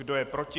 Kdo je proti?